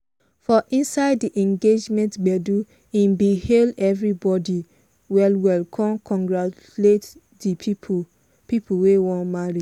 for inside di engagement gbedu he bin hail everybodi well well con congratulate di people people wey wan marry.